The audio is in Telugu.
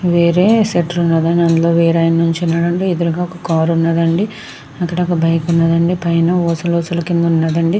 వేరే షటర్ ఉన్నదండి. అందులో వేరే ఆయన నించున్నాడు అండి. ఎదురుగా ఒక కార్ ఉన్నదండి. అక్కడ ఒక బైక్ ఉన్నదండి. పైన ఊసలు ఊసలు కింద ఉన్నదండి.